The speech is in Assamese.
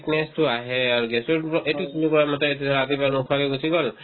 weakness তো আহে আৰু gas ৰ কিবা এইটো কোনোবাৰ মতে এইটো ধৰা ৰাতিপুৱা নোখোৱাকে গুচি গ'ল